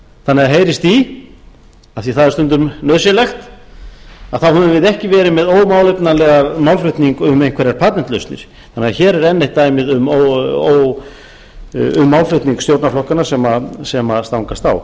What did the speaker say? þannig að heyrist í af því að það er stundum nauðsynlegt þá höfum við ekki verið með ómálefnalegan málflutning um einhverjar patentlausnir þannig að hér er enn eitt dæmið um málflutning stjórnarflokkanna sem stangast á